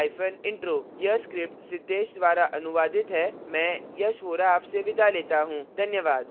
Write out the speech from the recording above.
यह स्क्रिप्ट सिद्धेश द्वारा अनुवादित है मैं यश वोरा आपसे विदा लेता हूँ धन्यवाद